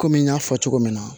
Kɔmi n y'a fɔ cogo min na